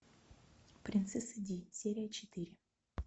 принцесса ди серия четыре